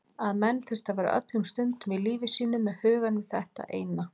Að menn þyrftu að vera öllum stundum í lífi sínu með hugann við þetta eina.